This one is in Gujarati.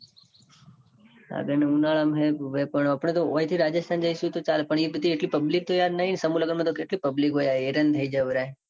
સાગર ને ઉનાળા માં છે. પણ આપણે તો ઓય થી રાજસ્થાન જઈસુ. તો ચાલે પણ યાર એટલી public તો નાઈ ન. સમૂહ લગન માં તો કેટલી public હોય. યાર હેરાન થઇ જવાય.